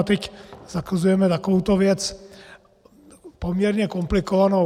A teď zakazujeme takovouto věc, poměrně komplikovanou.